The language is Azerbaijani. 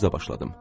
Sözə başladım.